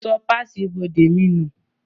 Mo sọ páàsì ibodè mi nù